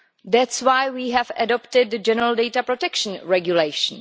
That is why we have adopted a General Data Protection Regulation.